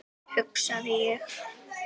hugsaði ég.